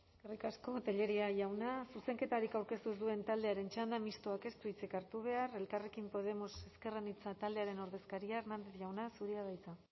eskerrik asko tellería jauna zuzenketarik aurkeztu ez duen taldearen txanda mistoak ez du hitzik hartu behar elkarrekin podemos ezker anitza taldearen ordezkaria hernández jauna zurea da hitza